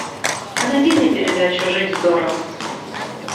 а найди мне передачу жить здорово